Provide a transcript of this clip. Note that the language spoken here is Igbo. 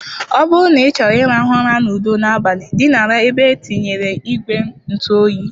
Ọ bụrụ na ịchọrọ ịrahụ ụra n'udo n'abalị, dinara n'ebe e tinyere ìgwè ntụ oyi.